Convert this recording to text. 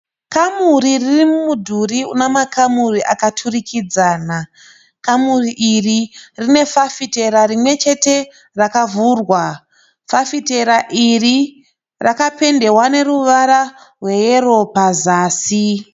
Kamuri riri mumudhuri una makamuri akaturikidzana. Kamuri iri rine fafitera rimwe chete rakavhurwa. Fafitera iri rakapendewa neruvara rweyero pasi.